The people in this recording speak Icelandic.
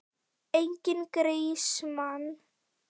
Enginn grís, mann!